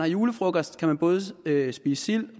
julefrokost hvor man både kan spise sild